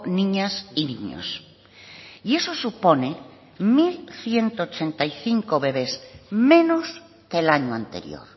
niñas y niños y eso supone mil ciento ochenta y cinco bebes menos que el año anterior